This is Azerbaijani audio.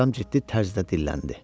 Atam ciddi tərzdə dilləndi.